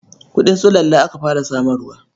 Kuɗin sulalla aka fara samarwa.